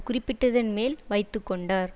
குறிப்பிட்டதன் மேல் வைத்து கொண்டார்